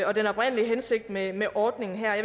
og den oprindelige hensigt med med ordningen her jeg